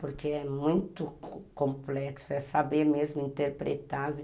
Porque é muito complexo, é saber mesmo interpretar.